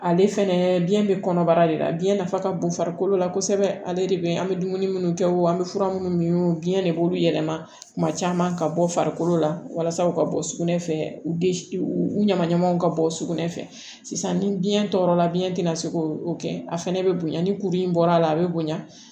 Ale fɛnɛ biɲɛ be kɔnɔbara de la biyɛn nafa ka bon farikolo la kosɛbɛ ale de be an be dumuni minnu kɛ wo an be fura minnu min biɲɛ de b'olu yɛlɛma kuma caman ka bɔ farikolo la walasa u ka bɔ sugunɛ fɛ u be u u ɲama ɲamanw ka bɔ sugunɛ fɛ sisan ni biɲɛ tɔɔrɔla biyɛn tɛna se k'o kɛ a fɛnɛ bɛ bonya ni kuru in bɔra a be bonya